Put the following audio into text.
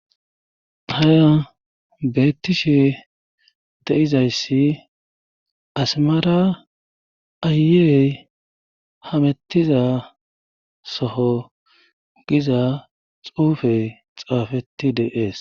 haya beettishe de7izayssi asimara aayeey hamettiza soho giza xuufey xaafeti deees